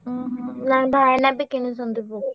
ଉହୁଁ ନାଇଁ ଭାଇନା ବି କିଣିଛନ୍ତି Poco ।